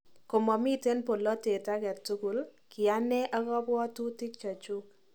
Komamiten polatet agetukul , kiane ak kapwotutik chechuk